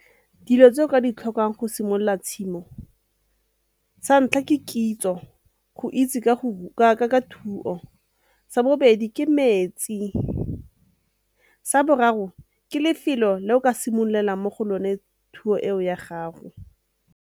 Dilo tse o ka di tlhokang go simolola tshimo, sa ntlha ke kitso go itse ka thuo, sa bobedi ke metsi, sa boraro ke lefelo le o ka simololang mo go lone thuo eo ya gago.